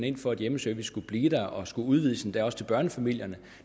ind for at hjemmeservice skulle blive og skulle udvides endda også til børnefamilierne